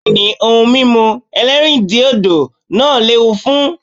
Bẹ́ẹ̀ ni, ohun mímú ẹlẹ́rìndiòdò náà lẹ́wu fún.